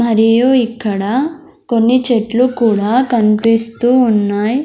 మరియు ఇక్కడ కొన్ని చెట్లు కూడా కన్పిస్తూ ఉన్నాయ్.